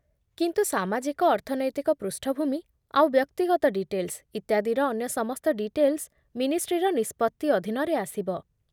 କିନ୍ତୁ ସାମାଜିକ ଅର୍ଥନୈତିକ ପୃଷ୍ଠଭୂମି ଆଉ ବ୍ୟକ୍ତିଗତ ଡିଟେଲ୍ସ ଇତ୍ୟାଦିର ଅନ୍ୟ ସମସ୍ତ ଡିଟେଲ୍ସ ମିନିଷ୍ଟ୍ରିର ନିଷ୍ପତ୍ତି ଅଧୀନରେ ଆସିବ।